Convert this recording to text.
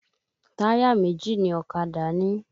Táyà méjì ni ọ̀kadà ní